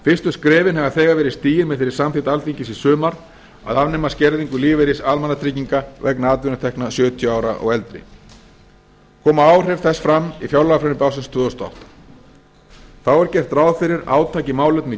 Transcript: fyrstu skrefin hafa þegar verið stigin með þeirri samþykkt alþingis í sumar að afnema skerðingu lífeyris almannatrygginga vegna atvinnutekna sjötíu ára og eldri koma áhrif þess fram í fjárlagafrumvarpi ársins tvö þúsund og átta þá er gert ráð fyrir átaki í málefnum